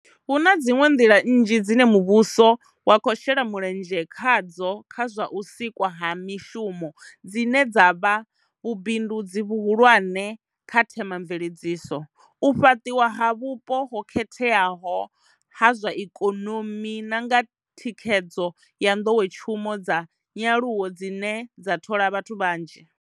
Hu na dziṅwe nḓila nnzhi dzine muvhuso wa khou shela mulenzhe khadzo kha zwa u sikwa ha mishumo dzine dza vha vhubindudzi vhuhulwane kha thema mveledziso, u fhaṱiwa ha vhupo ho khetheaho ha zwa ikonomi na nga thikhe dzo ya nḓowetshumo dza nyaluwo dzine dza thola vhathu vhanzhi.